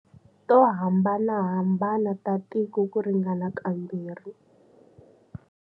To hambanahambana ta tiko ku ringana kambirhi.